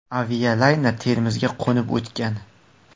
Avialayner Termizga qo‘nib o‘tgan.